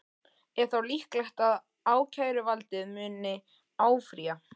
Er þá líklegt að ákæruvaldið muni áfrýja?